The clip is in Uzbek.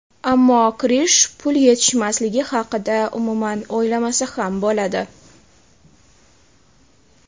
Ammo Krish pul yetishmasligi haqida umuman o‘ylamasa ham bo‘ladi.